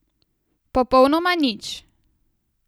Popolnoma nič.